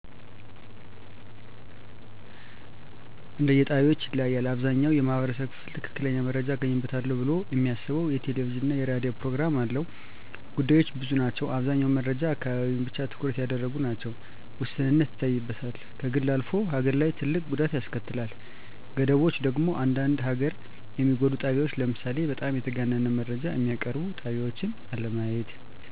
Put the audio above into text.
እንደየጣቢያዎች ይለያያል። አብዛኛው የማህበረሰቡ ክፍል ትክክለኛ መረጃ አገኝበታለው ብሎ እሚያስበው የቴሌቪዥንና የራዲዮ ፕሮግራም አለው። ጉዳቶች ብዙ ናቸው አብዛኛው መረጃዎች አካባቢን ብቻ ትኩረት ያደረጉ ናቸው፣ ውስንነት ይታይበታል፣ ከግል አልፎ ሀገር ላይ ትልቅ ጉዳት ያስከትላል። ገደቦቹ ደግሞ አንዳንዴ ሀገርን የሚጎዱ ጣቢያወች ለምሳሌ በጣም የተጋነነ መረጃ እሚያቀርቡ ጣቢያወችን አለማየት።